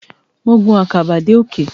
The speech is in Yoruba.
Mo gun àkàbà dé òkè.